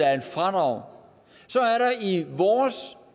er et fradrag